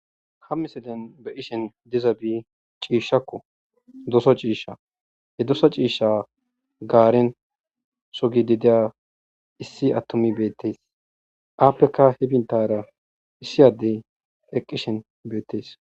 Ha misilen be ishen diza bi ciishshakko doso ciisha he dosa ciisha gaaren sogi dideya issi attomi beettees aappeka hi bintara issiyaddey eqqishen beettees